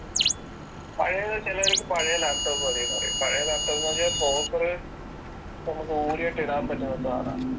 ചിലവർക്ക് പഴയ ലാപ്ടോപ്പ് മതി എന്ന് പറയും